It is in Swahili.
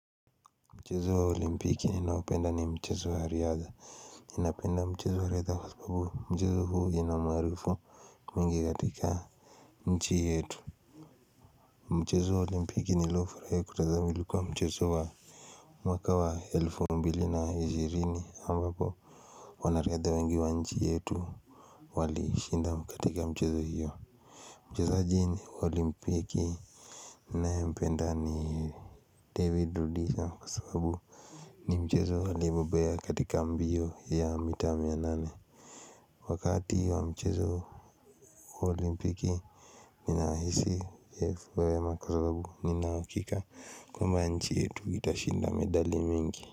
Mchezo wa olimpiki ninaopenda ni mchezo wa riadha ninapenda mchezo wa riadha kwa sababu mchezo huu ina umaarufu mwingi katika nchi yetu. Mchezo wa olimpiki niliofurahi kutazama ilikuwa mchezo wa mwaka wa elfu mbili na ishirini ambapo wana riadha wengi wa nchi yetu walishinda katika michezo hiyo. Mchezoaji wa olimpiki. Ninae mpenda ni David Rudisha kwa sababu ni mchezo aliyobobea katika mbio ya mita mia nane wakati wa mchezo olimpiki ninahisi imefanya vyema kwa sababu nina uhakika kwamba nchi yetu itashinda medali mingi.